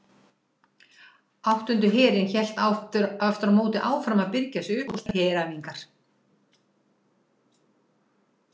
Áttundi herinn hélt aftur á móti áfram að birgja sig upp og stunda heræfingar.